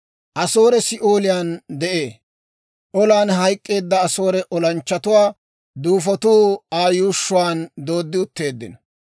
«Asoore Si'ooliyaan de'ee. Olan hayk'k'eedda Asoore olanchchatuwaa duufotuu Aa yuushshuwaan dooddi utteeddino.